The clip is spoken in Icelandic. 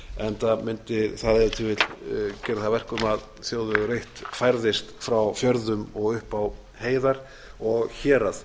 vill gera það að verkum að þ þjóðvegur eitt færðist frá fjörðum og upp á heiðar og hérað